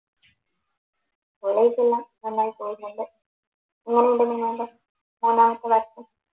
കോളേജെല്ലാം നന്നായിട്ട് പോവുന്നുണ്ട് എങ്ങനുണ്ട്